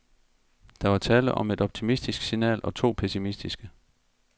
Der var tale om et optimistisk signal og to pessimistiske.